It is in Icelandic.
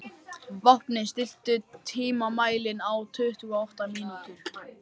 Vápni, stilltu tímamælinn á tuttugu og átta mínútur.